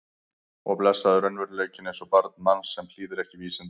Og blessaður raunveruleikinn eins og barn manns sem hlýðir ekki vísindum.